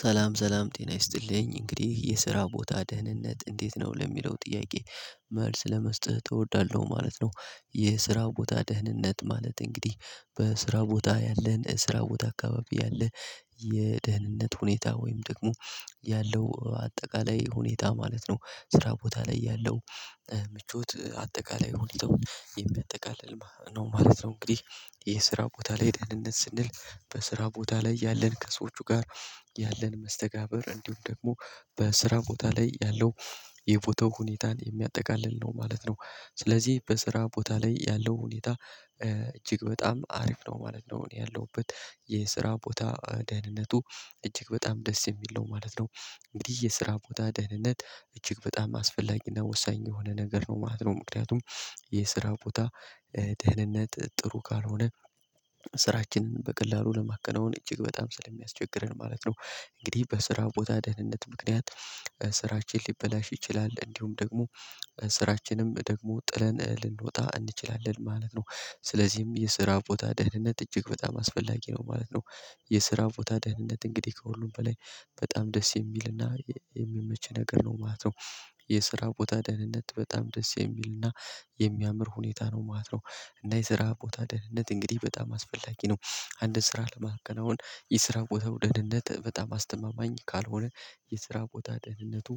ሰላም ሰላም ጤና ይስጥልኝ እንግዲህ የስራ ቦታ ደህንነት እንዴት ነው ለሚለው ጥያቄ መልስ ለመስጠት እወዳለው ማለት ነው። የስራ ቦታ ደህንነት ማለት እንግዲህ በስራ ቦታ ያለህን ስራ ቦታ አካባቢ ያለህ የደህንነት ሁኔታ ወይም ደግሞ ያለው አጠቃላይ ሁኔታ ማለት ነው። ስራ ቦታ ላይ ያለው ምቾት አጠቃላይ ሁኔታው የሚያጠቃልል ማለት ነው። እንግዲህ የስራ ቦታ ላይ ደህንነት ስንል በስራ ቦታ ላይ ያለን ከሰዎቹ ጋር ያለን መስተጋብር እንዲሁም ደግሞ በስራ ቦታ ላይ ያለው የቦታው ሁኔታን የሚያጠቃልል ነው ማለት ነው። ስለዚህ በስራ ቦታ ላይ ያለው ሁኔታ እጅግ በጣም አሪፍ ነው ማለት ነው። ያለሁበት የስራ ቦታ ደህንነቱ እጅግ በጣም ደስ የሚል ነው ማለት ነው። እንግዲህ የስራ ቦታ ደህንነት እጅግ በጣም አስፈላጊና ወሳኝ የሆነ ነገር ነው ማለት ነው። ምክንያቱም የስራ ቦታ ደህንነት ጥሩ ካልሆነ ስራችንን በቀላሉ ለማከናወን እጅግ በጣም ስለሚያስቸግረን ማለት ነው። እንግዲህ በስራ ቦታ ደህንነት ምክንያት ስራችን ሊበላሽ ይችላል እንዲሁም ደግሞ ስራችንም ደግሞ ጥለን ልንወጣ እንችላለን ማለት ነው። ስለዚህም የስራ ቦታ ደህንነት እጅግ በጣም አስፈላጊ ነው ማለት ነው። የስራ ቦታ ደህንነት እንግዲህ ከሁሉም በላይ በጣም ደስ የሚልና የሚመች ነገር ነው ማለት ነው። የስራ ቦታ ደህንነት በጣም ደስ የሚል እና የሚያምር ሁኔታ ነው ማለት ነው። እና የስራ ቦታ ደህንነት እንግዲህ በጣም አስፈላጊ ነው። አንድን ስራ ለማከናወን የስራ ቦታ ደህንነት በጣም አስተማማኝ ካልሆነ የስራ ቦታ ደህንነቱ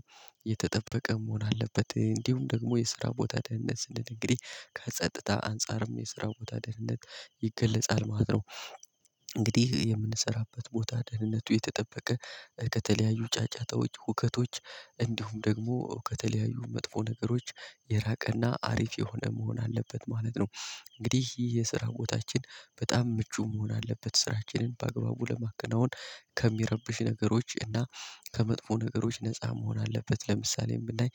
የተጠበቀ መሆን አለበት እንዲሁም ደግሞ የስራ ቦታ ደህንነት ስንል እንግዲህ ከጸጥታ አንፃርም የስራ ቦታ ደህንነት ይገለጻል ማለት ነው። እንግዲህ የምንሰራበት ቦታ ደህንነቱ የተጠበቀ ከተለያዩ ጫጫታዎች ሁከቶች እንዲሁም ደግሞ ከተለያዩ መጥፎ ነገሮች የራቀና አሪፍ የሆነ መሆን አለበት ማለት ነው። እንግዲህ ይህ የስራ ቦታችን በጣም ምቹ መሆን አለበት ስራችንን በአግባቡ ለማከናወን። ከሚረብሹ ነገሮች እና ከመጥፎ ነገሮች ነፃ መሆን አለበት ለምሳሌ ብናይ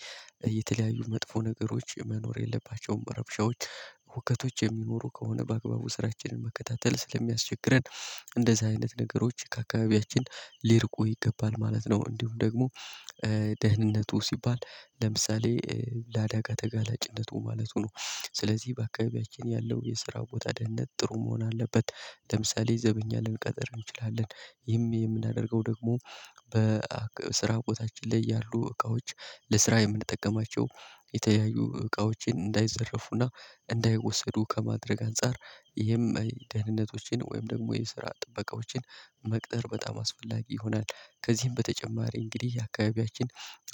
የተለያዩ መጥፎ ነገሮች መኖር የለባቸውም። ረብሻዎች ሁከቶች የሚኖሩ ከሆነ በአግባቡ ስራችንን መከታተል ስለሚያስቸግረን እንደዚህ አይነት ነገሮች ከአካባቢያችን ሊርቁ ይገባል ማለት ነው። እንዲሁም ደግሞ ደህንነቱ ሲባል ለምሳሌ ለአዳጋ ተጋላጭነቱ ማለቱ ነው። ስለዚህ በአካባቢያችን ያለው የስራ ቦታ ደህንነት ጥሩ መሆን አለበት። ለምሳሌ ዘበኛ ልንቀጥር እንችላለን ይህም የምናደርገው ደግሞ በስራ እውቀታችን ላይ ያሉ እቃዎች ለስራ የምንጠቀማቸው የተለያዩ እቃዎችን እንዳይዘረፉና እንዳይወሰዱ ከማድረግ አንፃር ይህም ደህንነቶችን ወይም ደግሞ የስራ ጥበቃዎችን መቅጠር በጣም አስፈላጊ ይሆናል። ከዚህም በተጨማሪ እንግዲህ አካባቢያችን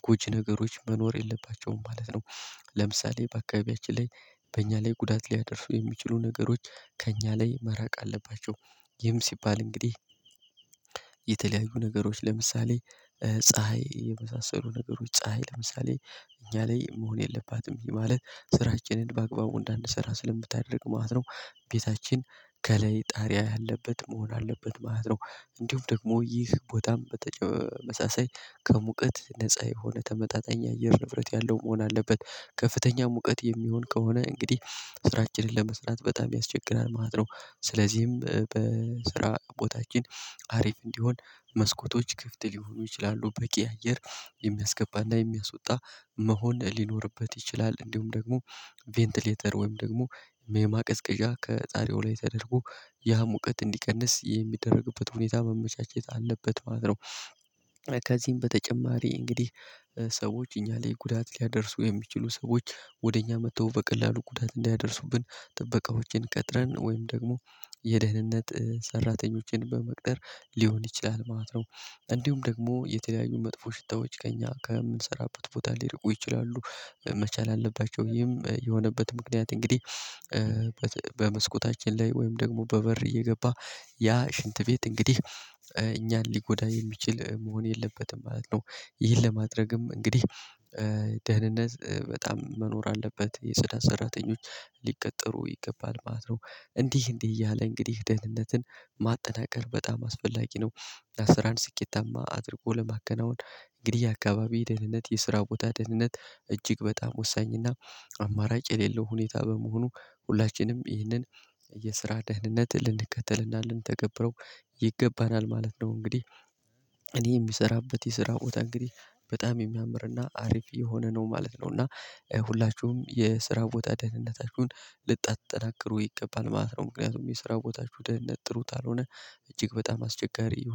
ጎጂ ነገሮች መኖር የለባቸውም ማለት ነው። ለምሳሌ በአካባቢያችን ላይ በእኛ ላይ ጉዳት ሊያደርሱ የሚችሉ ነገሮች ከእኛ ላይ መራቅ አለባቸው። ይህም ሲባል እንግዲህ የተለያዩ ነገሮች ለምሳሌ ፀሀይ የመሳሰሉ ነገሮች ፀሀይ ለምሳሌ እኛ ላይ መሆን የለባትም ይህ ማለት ስራችንን በአግባቡ እንዳንሰራ ስለምታደርግ ማለት ነው። ቤታችን ከላይ ጣሪያ ያለበት መሆን አለበት ማለት ነው። እንዲሁም ደግሞ ይህ ቦታም በተመሳሳይ ከሙቀት ነፃ የሆነ ተመጣጣኝ አየር ንብረት ያለው መሆን አለበት ከፍተኛ ሙቀት የሚሆን ከሆነ እንግዲህ ስራችንን ለመስራት በጣም ያስቸግራል ማለት ነው። ስለዚህም በስራ ቦታችን አሪፍ እንዲሆን መስኮቶች ክፍት ሊሆኑ ይችላሉ በቂ አየር የሚያስገባና የሚያስወጣ መሆን ሊኖርበት ይችላል እንዲሁም ደግሞ ቬንትሌተር ወይም ደግሞ የማቀዝቀዣ ከጣርያው ላይ ተደርጎ ያ ሙቀት እንዲቀንስ የሚደረግበት ሁኔታ መመቻቸት አለበት ማለት ነው። ከዚህም በተጨማሪ እንግዲህ ሰዎች እኛ ላይ ጉዳት ሊያደርሱ የሚችሉ ሰዎች ወደ እኛ መጥተው በቀላሉ ጉዳት እንዲያደርሱብን ጥበቃዎችን ቀጥረን ወይም ደግሞ የደህንነት ሰራተኞችን በመቅጠር ሊሆን ይችላል ማለት ነው። እንዲሁም ደግሞ የተለያዩ መጥፎ ሽታዎች ከኛ ከምንሰራበት ቦታ ሊርቁ ይችላሉ መቻል አለባቸው ይሄም የሆነበት ምክንያት እንግዲህ በመስኮታችን ላይ ወይም ደግሞ በበር እየገባ ያ ሽንት ቤት እንግዲህ እኛን ሊጎዳ የሚችል መሆን የለበትም ማለት ነው። ይህን ለማድረግም እንግዲህ ደህንነት በጣም መኖር አለበት የጽዳት ሰራተኞች ሊቀጠሩ ይገባል ማለት ነው። እንዲህ እንዲህ እያለ እንግዲህ ደህንነትን ማጠናከር በጣም አስፈላጊ ነው። ለስራን ስኬታማ አድርጎ ለማከናወን እንግዲህ የአካባቢ ደህንነት የስራ ቦታ ደህንነት እጅግ በጣም ወሳኝና አማራጭ የሌለው ሁኔታ በመሆኑ ሁላችንም ይህንን የስራ ደህንነት ልንከተልና ልንተገብረው ይገባናል ማለት ነው። እንግዲህ እኔ የምሰራበት የስራ ቦታ እንግዲህ በጣም የሚያምርና አሪፍ የሆነ ነው ማለት ነው። እና ሁላችሁም የስራ ቦታ ደህንነታቹን ልታጠናክሩ ይገባል ማለት ነው። ምክንያቱም የሰራው ቦታቹ ደህንነት ጥሩ ካልሆነ እጅግ በጣም አስቸጋሪ